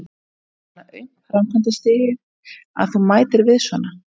Er þetta svona aumt framkvæmdastigið, að þú mætir við svona?